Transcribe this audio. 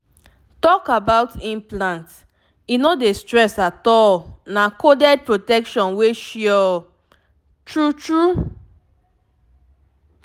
talk about implant e no dey stress at all — na coded protection wey suresmall pause true true small pause.